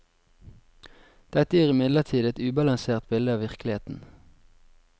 Dette gir imidlertid et ubalansert bilde av virkeligheten.